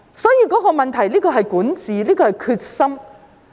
所以，問題在於管治和決心。